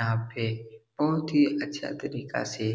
यहाँ पे बहुत ही अच्छा तरीका से